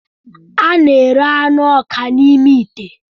A na-ere anụ ọka ọka n'ime ite.